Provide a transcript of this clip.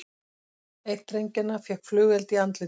Einn drengjanna fékk flugeld í andlitið